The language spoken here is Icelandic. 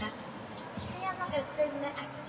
Þar á meðal er brauð með eggi.